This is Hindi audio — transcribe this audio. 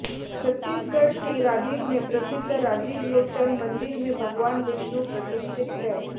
छत्तीसगढ़ के राजिम में प्रसिद्ध राजीव लोचन मंदिर में भगवान विष्णु प्रतिष्ठित हैं